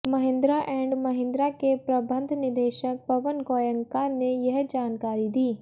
Mahindra and Mahindra के प्रबंध निदेशक पवन गोयनका ने यह जानकारी दी